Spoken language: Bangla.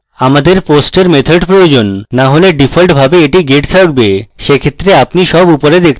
আমাদের post we method প্রয়োজন না হলে ডিফল্টভাবে এটি get থাকবে সেক্ষেত্রে আপনি সব উপরে দেখতে পাবেন